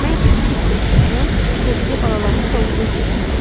Mən keçi südünü də içmişəm, təzəcə balalamış donuzun südünü də.